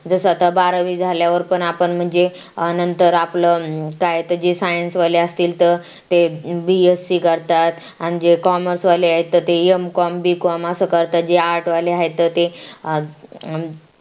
जस आता बारावी झाल्यावर पण आपण म्हणजे नंतर आपलं काय त्याची SCIENCE असतील तर ते BSC करतात आणि जे COMMMERCE आहेत ते M.Com bcom रतात जे ART वाले आहेत ते